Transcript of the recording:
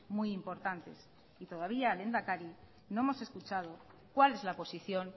muy importantes y todavía lehendakari no hemos escuchado cuál es la posición